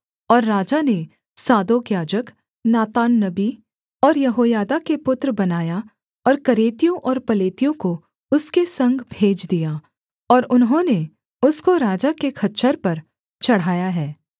और राजा ने सादोक याजक नातान नबी और यहोयादा के पुत्र बनायाह और करेतियों और पलेतियों को उसके संग भेज दिया और उन्होंने उसको राजा के खच्चर पर चढ़ाया है